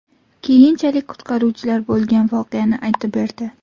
Keyinchalik qutqaruvchilar bo‘lgan voqeani aytib berdi.